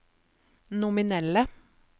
nominelle